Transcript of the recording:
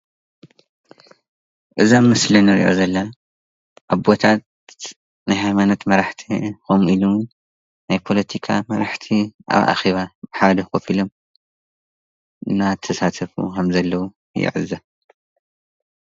እዚ አብ ምስሊ ንሪኦ ዘለና አቦታት ናይ ሃይማኖት መራሕቲ ከምኡ እውን ናይ ፖለቲካ መራሕቲ ኣብ አኼባ አብ ሓደ ከፍ ኢሎም እናተሳተፉ ከም ዘለዉ ንዕዘብ።